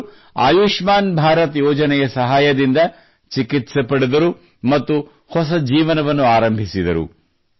ಇವರು ಆಯುಷ್ಮಾನ್ ಭಾರತ್ ಯೋಜನೆಯ ಸಹಾಯದಿಂದ ಚಿಕಿತ್ಸೆ ಪಡೆದರು ಮತ್ತು ಹೊಸ ಜೀವನವನ್ನು ಆರಂಭಿಸಿದರು